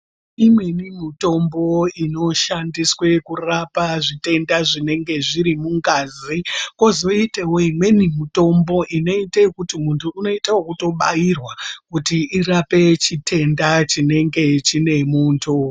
Imweni mitombo inoshandiswe kurapa zvitenda zvinenge zviri mungazi kozoitewo imweni mitombo inoita ngekuti muntu unoita ekubairwa kuti irape chitenda chinenge chinemuntu.